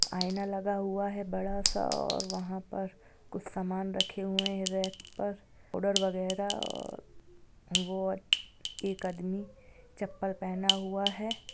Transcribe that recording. आईना लगा हुआ है बड़ा सा और वहां पर कुछ सामान रखे है रैक पर पाउडर वग़ैरा और वो एक आदमी चप्पल पहना हुआ है।